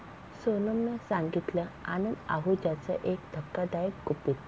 सोनमनं सांगितलं आनंद आहुजाचं एक धक्कादायक गुपित!